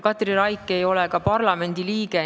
Katri Raik ei ole ka parlamendi liige.